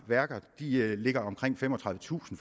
ligger på omkring femogtredivetusind